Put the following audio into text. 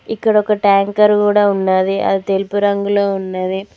ఇక్కడ ఒక ట్యాంకర్ కూడా ఉన్నది అది తెలుపు రంగులో ఉన్నది.